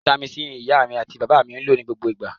Vitamin C ni iya ati baba mi maa n lo ni gbogbo igba.